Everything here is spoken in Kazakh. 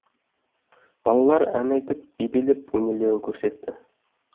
балалар ән айтып би билеп өнерлерін көрсетті